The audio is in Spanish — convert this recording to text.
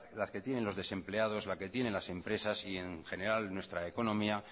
las que tienen los desempleados la que tienen las empresas y en general nuestra economía